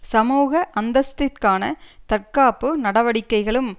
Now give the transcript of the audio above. சமூக அந்தஸ்திற்கான தற்காப்பு நடவடிக்கைகளும்